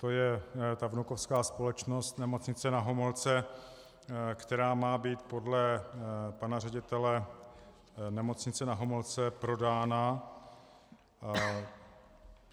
To je ta vnukovská společnost Nemocnice Na Homolce, která má být podle pana ředitele Nemocnice Na Homolce prodána.